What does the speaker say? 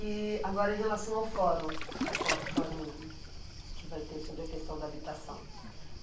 E agora, em relação ao fórum, a fo, fórum que vai ter sobre a questão da habitação.